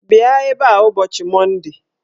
Bịa ebe a ụbọchị Monde!